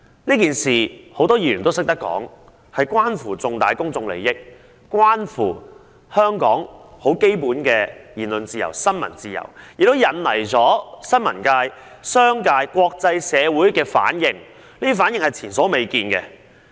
正如多位議員指出，這件事件關乎重大公眾利益及香港的基本言論自由和新聞自由，並且引起新聞界、商界和國際社會前所未見的反應。